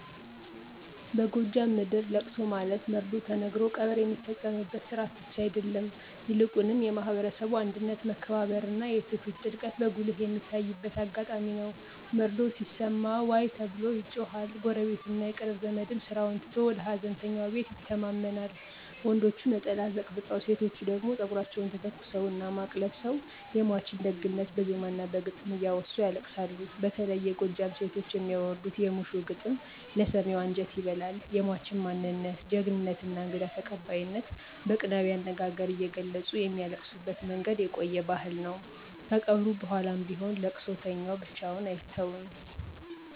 በጎጃም ምድር ለቅሶ ማለት መርዶ ተነግሮ ቀብር የሚፈጸምበት ሥርዓት ብቻ አይደለም፤ ይልቁንም የማህበረሰቡ አንድነት፣ መከባበርና የትውፊት ጥልቀት በጉልህ የሚታይበት አጋጣሚ ነው። መርዶው ሲሰማ “ዋይ” ተብሎ ይጮሃል፣ ጎረቤትና የቅርብ ዘመድም ስራውን ትቶ ወደ ሃዘንተኛው ቤት ይተማመናል። ወንዶቹ ነጠላ አዘቅዝቀው፣ ሴቶቹ ደግሞ ፀጉራቸውን ተተኩሰውና ማቅ ለብሰው የሟችን ደግነት በዜማና በግጥም እያወሱ ያለቅሳሉ። በተለይ የጎጃም ሴቶች የሚያወርዱት "የሙሾ ግጥም" ለሰሚው አንጀት ይበላል፤ የሟችን ማንነት፣ ጀግንነትና እንግዳ ተቀባይነት በቅኔያዊ አነጋገር እየገለጹ የሚያለቅሱበት መንገድ የቆየ ባህል ነው። ከቀብሩ በኋላም ቢሆን ለቅሶተኛው ብቻውን አይተውም።